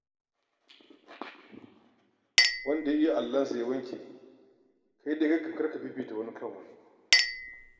Wanda ya iya allonsa ya wanke, kai dai kar ka fifita wani kan wani.